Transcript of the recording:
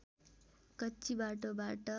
कच्ची बाटोबाट